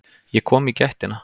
Ég kom í gættina.